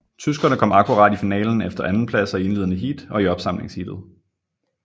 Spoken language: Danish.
Tyskerne kom akkurat i finalen efter andenpladser i indledende heat og i opsamlingsheatet